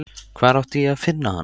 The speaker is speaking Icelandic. Hvar átti ég að finna hana?